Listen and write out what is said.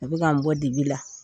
A bɛ ka n bɔ dibi la